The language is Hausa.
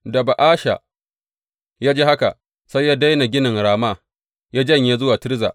Da Ba’asha ya ji haka, sai ya daina ginin Rama, ya janye zuwa Tirza.